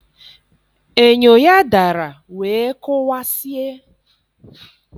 Enyo ya dara wee kụwasie.